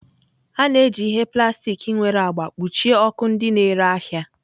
A na-eji ihe plastik nwere agba kpuchie ọkụ ndị na-ere ahịa.